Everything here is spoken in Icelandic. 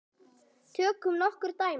Tökum nokkur dæmi.